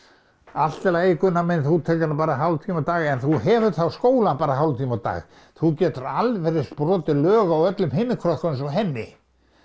allt í lagi Gunnar minn þú tekur hana bara hálftíma á dag en þú hefur þá skólann bara hálftíma á dag þú getur alveg eins brotið lög á öllum hinum krökkunum eins og henni